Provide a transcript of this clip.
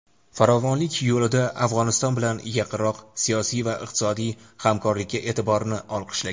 farovonlik yo‘lida Afg‘oniston bilan yaqinroq siyosiy va iqtisodiy hamkorlikka e’tiborini olqishlagan.